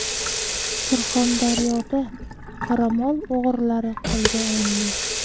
Surxondaryoda qoramol o‘g‘rilari qo‘lga olindi.